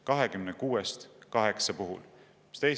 26-st 8 puhul!